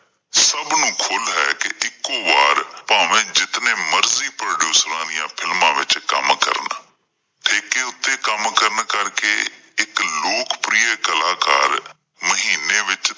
ਸਭ ਨੂੰ ਖੁੱਲ ਹੈ ਕਿ ਇੱਕੋਂ ਬਾਰ ਭਾਵੇਂ ਜਿਤਨੇ ਮਰਜ਼ੀ producers ਦੀਆਂ films ਵਿੱਚ ਕੰਮ ਕਰਨ ਠੇਕੇ ਉੱਤੇ ਕੰਮ ਕਰਨ ਕਰਕੇ ਇੱਕ ਲੋਕ-ਪ੍ਰਿਆ ਕਲਾਕਾਰ ਮਹੀਨੇ ਵਿੱਚ